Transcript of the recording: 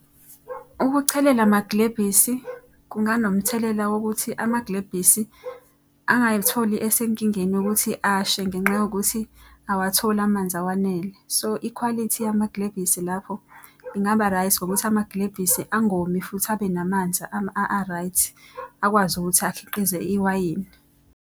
Ukuchelela amagilebhisi kunganomthelela wokuthi amagilebhisi angay'tholi esenkingeni yokukuthi ashe ngenxa yokuthi awatholi amanzi awanele. So, ikhwalithi yamagilebhisi lapho ingaba right ngokuthi amagilebhisi agomi futhi abe namanzi a-right. Akwazi ukuthi akhiqize iwayini.